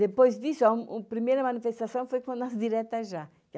Depois disso, a primeira manifestação foi na direta já.